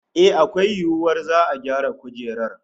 Eh, akwai yiwuwar za'a gyara kujerar